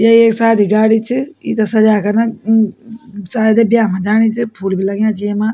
यो एक शादी गाड़ी च यिते सजे कर न उ-उ-उ शायद ये बया मा जाणी च फूल भी लग्याँ छी येमा।